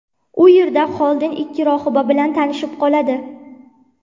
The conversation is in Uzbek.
U yerda Xolden ikki rohiba bilan tanishib qoladi.